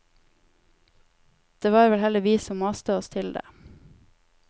Det var vel heller vi som maste oss til det.